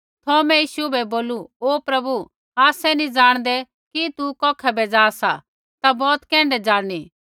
थौमे यीशु बै बोलू ओ प्रभु आसै नैंई जाणदै कि तू कौखै बै जा सा ता बौत कैण्ढै ज़ाणनी